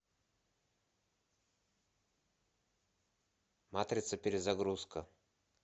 матрица перезагрузка